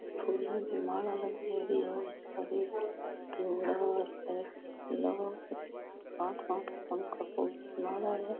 फूलो की माला लागेड़ी है माला है।